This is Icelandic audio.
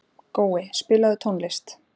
Gói, spilaðu tónlist.